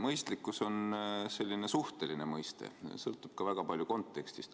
Mõistlikkus on selline suhteline mõiste, see sõltub väga palju kontekstist.